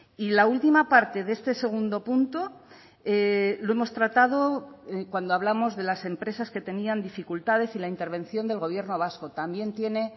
y la última parte de este segundo punto lo hemos tratado cuando hablamos de las empresas que tenían dificultades y la intervención del gobierno vasco también tiene